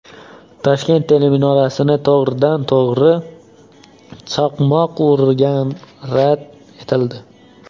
Toshkent teleminorasini to‘g‘ridan-to‘g‘ri chaqmoq urgani rad etildi.